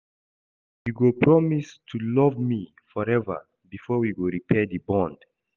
You go promise to love me forever before we go repair di bond.